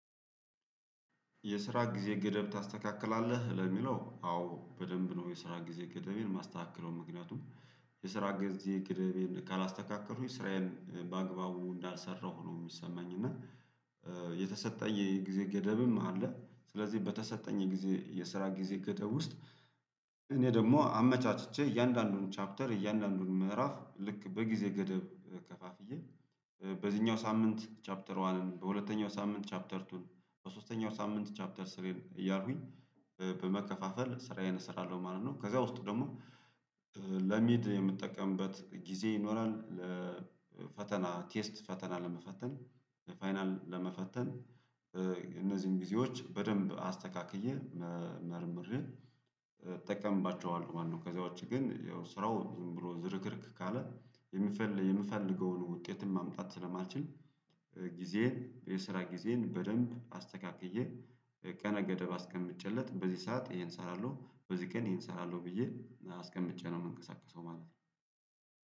የስራ ጊዜ ገደብ ታስተካክላለህ ለሚለው አዎ በደንብ ነው የስራ ጊዜ ገደቤን ማስተካከለው ምክንያቱም የስራ ግዜ ገደቤን ካላስተካከሉኩኝ ስራዬን በአግባቡ እንዳልሰራሁ ነው የሚሰማኝ እና የተሰጠኝ የጊዜ ገደብም አለ። ስለዚህ በተሰጠኝ የጊዜ የስራ ጊዜ ገደብ ውስጥ እኔ ደግሞ አመቻችቼ እያንዳንዱን ቻፕተር እያንዳንዱን ምዕራፍ ልክ በጊዜ ገደብ ከፋፍዬ በዚህኛው ሳምንት ቻፕተርዋንን በሁለተኛው ሳምንት ቻፕተርቱን በሶስተኛው ሳምንት ቻፕተር ስሪ እያልኩኝ በመከፋፈል ስራዬን እሰራለሁ ማለት ነው። ከዛ ውስጥ ደግሞ ለሚድ የምጠቀምበት ጊዜ ይኖራል ለፈተና ቴስት ፈተና ለመፈተን ፋይናል ለመፈተን እነዚህን ጊዜዎች በደንብ አስተካክዬ መርምሬ እጠቀምባቸዋለሁ ማለት ነው። ከዛ ዉጪ ግን ያው ስራው ዝም ብሎ ዝርክርክ ካለ የምፈልገዉን ውጤትን ማምጣት ስለማልችል። ጊዜን የስራ ጊዜን በደንብ አስተካክዬ ቀነ ገደብ አስቀምጬለት በዚህ ሰዓት ይሄን እሰራለሁ በዚህ ቀን ይሄን እሰራለሁ ብዬ አስቀምጬ ነው የምንቀሳቀሰው ማለት ነው